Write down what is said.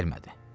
Gəlmədi.